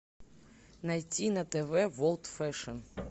найти на тв ворлд фэшн